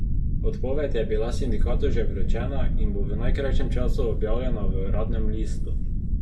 Odpoved je bila sindikatu že vročena in bo v najkrajšem času objavljena v uradnem listu.